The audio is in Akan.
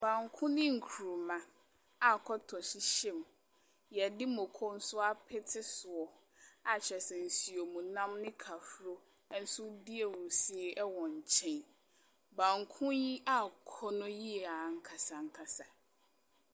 Banku ne nkuruma a kɔtɔ hyehyɛ mu, wɔde mako nso apete so, a kyerɛ sɛ nsuom nam ne kahuro nso redi ahurusie wɔ nkyɛn. Banku yi yɛ akɔnnɔ yie ankasa ankasa.